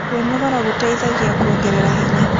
Kwĩnogora gũteĩthagĩa kũongerera hinya